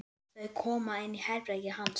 Þau koma inn í herbergið hans.